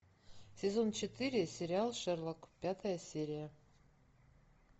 сезон четыре сериал шерлок пятая серия